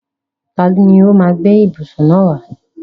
Tani ó máa gbé ìbùsùn náà wá?